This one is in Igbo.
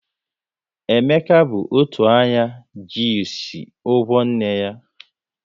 Emeka bụ otu anya ji ịsị ụgwọ nne ya